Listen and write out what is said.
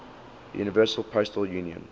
universal postal union